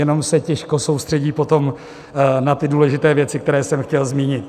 Jenom se těžko soustředí potom na ty důležité věci, které jsem chtěl zmínit.